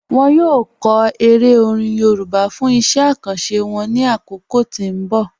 Wọn yọ kọ èrè orin Yorùbá fún iṣẹ̀ àkàńṣé wọn ní akókò tí n bọ̀.